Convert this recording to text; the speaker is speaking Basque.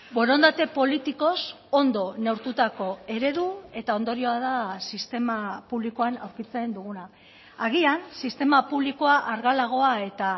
borondate politikoz ondo neurtutako eredu eta ondorioa da sistema publikoan aurkitzen duguna agian sistema publikoa argalagoa eta